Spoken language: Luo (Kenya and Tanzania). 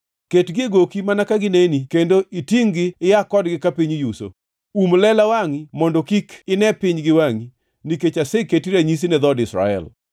Ketgi e goki mana ka gineni kendo itingʼ-gi ia kodgi ka piny yuso. Um lela wangʼi, mondo kik ine piny giwangʼi, nikech aseketi ranyisi ne dhood Israel.”